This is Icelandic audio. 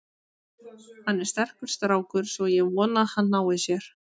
Hann er sterkur strákur, svo ég vona að hann nái sér.